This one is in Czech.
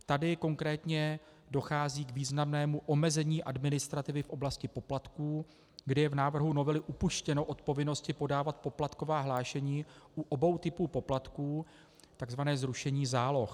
Tady konkrétně dochází k významnému omezení administrativy v oblasti poplatků, kdy je v návrhu novelu upuštěno od povinnosti podávat poplatková hlášení u obou typů poplatků, tzv. zrušení záloh.